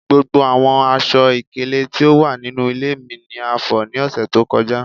Gbogbo awọn aṣọ-ikele ti o wa ninu ile mi ni a fọ ​​ni ọsẹ to kọja